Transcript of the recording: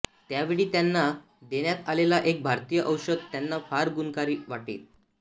त्यावेळी त्यांना देण्यात आलेले एक भारतीय औषध त्यांना फार गुणकारी वाटले